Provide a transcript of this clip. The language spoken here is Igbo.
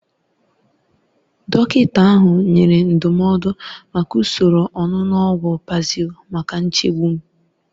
Dọkịta ahụ nyere ndụmọdụ maka usoro onunu ogwu Paxil maka nchegbu m.